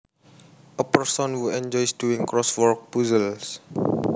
A person who enjoys doing crossword puzzles